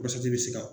bɛ se ka